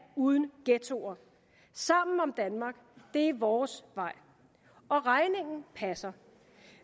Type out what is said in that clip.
uden ghettoer sammen om danmark det er vores vej og regningen passer